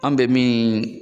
An be min